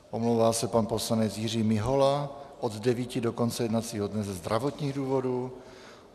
Omlouvá se pan poslanec Jiří Mihola od 9.00 do konce jednacího dne ze zdravotních důvodů.